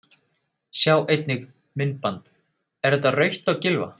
Sjá einnig: Myndband: Er þetta rautt á Gylfa?